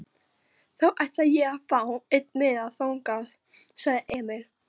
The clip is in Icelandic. Þá ætla ég að fá einn miða þangað, sagði Emil.